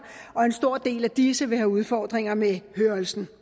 og en stor del af disse vil have udfordringer med hørelsen